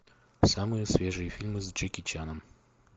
самые свежие фильмы с джеки чаном